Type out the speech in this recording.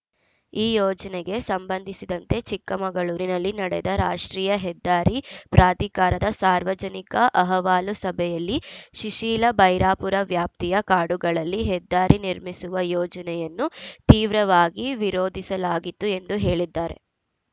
ಈ ಯೋಜನೆಗೆ ಸಂಬಂಧಿಸಿದಂತೆ ಚಿಕ್ಕಮಗಳೂರಿನಲ್ಲಿ ನಡೆದ ರಾಷ್ಟ್ರೀಯ ಹೆದ್ದಾರಿ ಪ್ರಾಧಿಕಾರದ ಸಾರ್ವಜನಿಕ ಅಹವಾಲು ಸಭೆಯಲ್ಲಿ ಶಿಶಿಲಾಭೈರಾಪುರ ವ್ಯಾಪ್ತಿಯ ಕಾಡುಗಳಲ್ಲಿ ಹೆದ್ದಾರಿ ನಿರ್ಮಿಸುವ ಯೋಜನೆಯನ್ನು ತೀವ್ರವಾಗಿ ವಿರೋಧಿಸಲಾಗಿತ್ತು ಎಂದು ಹೇಳಿದ್ದಾರೆ